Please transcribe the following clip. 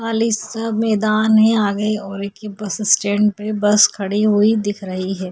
खाली सा मैदान हैं आगे और एक ये बस स्टॅंड पे बस खड़ी हुई दिख रही हैं।